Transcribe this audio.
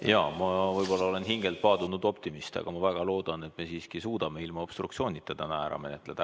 Jaa, ma võib-olla olen hingelt paadunud optimist, aga ma väga loodan, et me siiski suudame ilma obstruktsioonita täna ära menetleda.